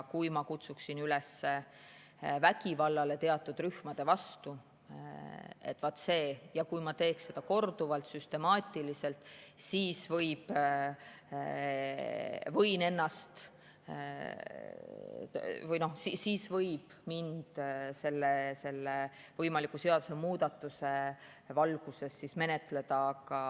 Kui ma kutsuksin üles vägivallale teatud rühmade vastu ja kui ma teeks seda korduvalt, süstemaatiliselt, siis võiks minu selle võimaliku seadusemuudatuse valguses menetleda.